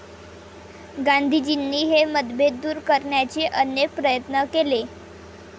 गांधीजींनी हे मतभेद दूर करण्याचे अनेक प्रयत्न केले.